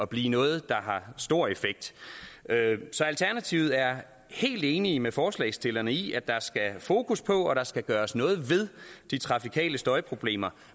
blive noget der har stor effekt så alternativet er helt enige med forslagsstillerne i at der skal fokus på at der skal gøres noget ved de trafikale støjproblemer